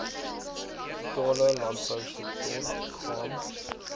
totale landbousektor gaan